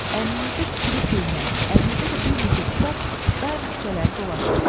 Əlinizdə tikili köynək, əlinizdə də bir neçə kitab daim küçələri dolaşırsınız.